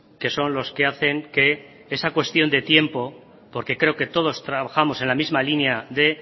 que son los que hacen que esa cuestión de tiempo porque creo que todos trabajamos en la misma línea de